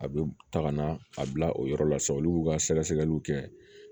A bɛ taga na a bila o yɔrɔ la sa olu b'u ka sɛgɛsɛgɛliw kɛ